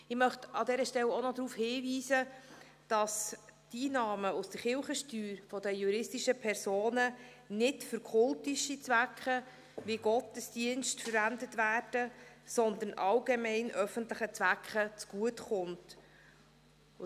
Ich möchte an dieser Stelle auch noch darauf hinweisen, dass die Einnahmen aus der Kirchensteuer der juristischen Personen nicht für kultische Zwecke, wie etwa Gottesdienste, verwendet werden, sondern allgemeinen, öffentlichen Zwecken zugutekommen.